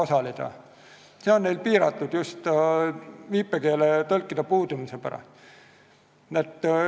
See võimalus on neil piiratud just viipekeeletõlkide puudumise pärast.